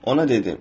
Ona dedim.